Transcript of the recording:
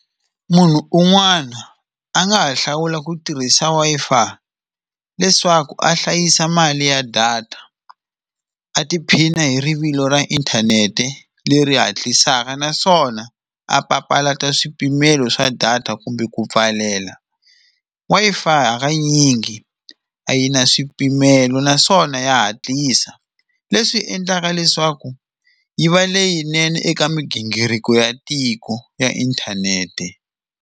Munhu un'wana a nga ha hlawula ku tirhisa Wi-Fi leswaku a hlayisa mali ya data, a tiphina hi rivilo ra inthanete leri hatlisaka naswona a papalata swipimelo swa data kumbe ku pfalela. Wi-Fi hakanyingi a yi na swipimelo naswona ya hatlisa leswi endlaka leswaku yi va leyinene eka migingiriko ya tiko ya inthanete.